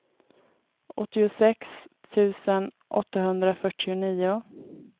åttiosex tusen åttahundrafyrtionio